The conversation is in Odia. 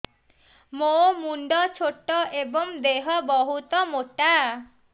ମୋ ମୁଣ୍ଡ ଛୋଟ ଏଵଂ ଦେହ ବହୁତ ମୋଟା